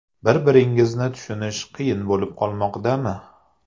Bir – biringizni tushunish qiyin bo‘lib qolmoqdami?